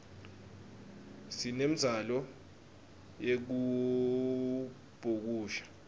sinemdzalo yekubhukusha